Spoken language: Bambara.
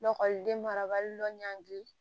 Lakɔliden marabali lɔngiri